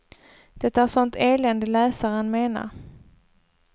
Det är sånt elände läsaren menar.